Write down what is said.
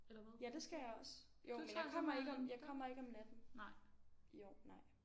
Ja det skal jeg også jo men jeg kommer ikke om jeg kommer ikke natten i år nej